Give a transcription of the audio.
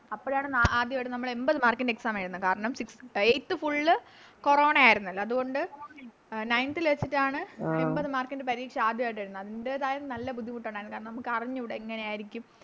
അപ്പോഴാണ് നമ്മളാദ്യയിട്ട് എൺപത്ത് Mark ൻറെ Exam എഴുതുന്നെ കാരണം Eighth full കൊറോണ ആയിരുന്നല്ലോ അതുകൊണ്ട് Nineth ല് വെച്ചിട്ടാണ് അയിമ്പത് Mark ൻറെ പരീക്ഷ ആദ്യായിട്ടെഴുതുന്നത് അതിൻറെതായ നല്ല ബുദ്ധിമുട്ടുണ്ടാരുന്നു കാരണം നമുക്കറിഞ്ഞൂടാ എങ്ങനെയാരിക്കും